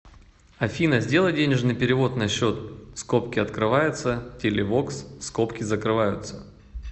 афина сделай денежный перевод на счет скобки открываются телевокс скобки закрываются